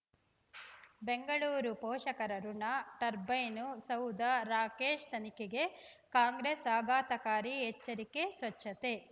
ಬೆಂಗಳೂರು ಪೋಷಕರಋಣ ಟರ್ಬೈನು ಸೌಧ ರಾಕೇಶ್ ತನಿಖೆಗೆ ಕಾಂಗ್ರೆಸ್ ಆಘಾತಕಾರಿ ಎಚ್ಚರಿಕೆ ಸ್ವಚ್ಛತೆ